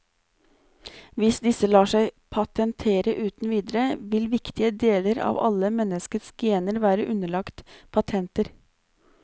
Hvis disse lar seg patentere uten videre, vil viktige deler av alle menneskets gener være underlagt patenter.